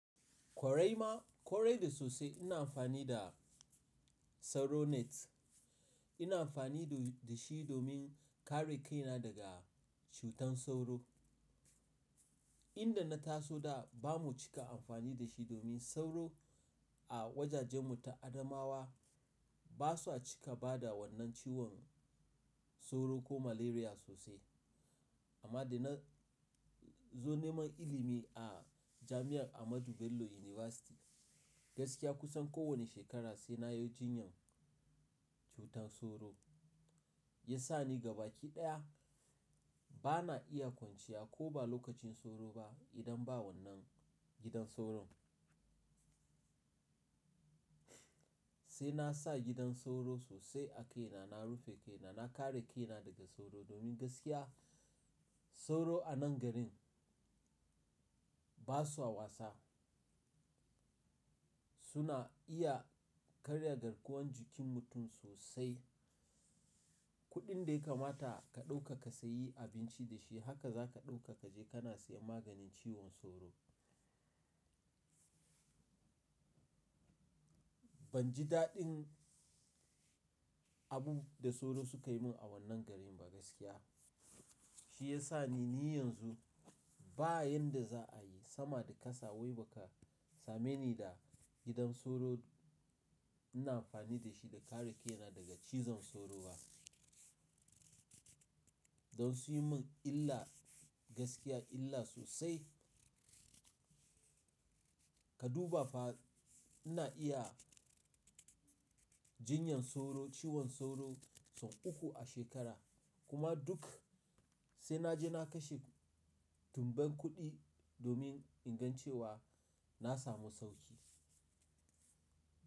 Kwarai ma, kwarai da sosai ina amfani da sauro net. Ina amfani da shi domin kare kaina daga cutar sauro. Inda na taso da bamu cika amfani da shi domin sauro a wajajenmu ta Adamawa ba sa cika bada wannan ciwon sauro ko malaria sosai. Amma da na zo neman ilimi a jami'ar Ahmadu Bello University gaskiya kusan kowane shekara sai na yi jinyan cutar sauro. Ya sa ni gaba ki ɗaya bana iya kwanciya ko ba lokacin sauro ba idan ba wannan gidan sauro. Sai na sa gidan sauro sosai a kaina, na rufe kaina, na kare kaina daga sauro domin gaskiya sauro a nan garin basaa wasa. Suna iya karya garkuwan jikin mutum sosai. Kuɗin da ya kamata ka ɗauka ka sayi abinci da shi haka za ka ɗauka ka je kana siyan maganin ciwon sauro. Ban ji daɗin abun da sauro suka yi min a wannan garin ba gaskiya. Shi ya sa ni, ni yanzu ba yanda za a yi sama da kasa wai ba ka same ni da gidan sauro ina amfani da shi da kare kaina daga cizon sauro ba. Don sunyi min illa gaskiya illa sosai. Ka duba fa ina iya jinyan sauro, ciwon sauro son uku a shekara kuma duk sai na je na kashe dubban kuɗi domin in ga cewa na samu sauƙi.